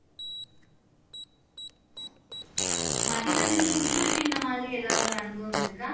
மதிவதனி உங்களுக்கு இந்த மாதிரி எதாவது ஒரு அனுபவம் இருக்கா